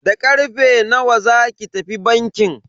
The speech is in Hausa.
Da karfe nawa zaki tafi bankin?